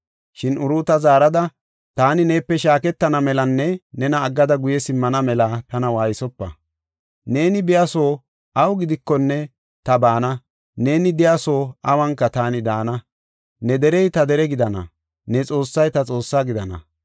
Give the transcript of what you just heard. Shin Uruuta zaarada, “Taani neepe shaaketana melanne nena aggada guye simmana mela tana waaysopa. Neeni biya soo awu gidikonne ta baana, neeni de7iya soo awunka taani daana. Ne derey ta dere gidana, ne Xoossay ta Xoossa gidana.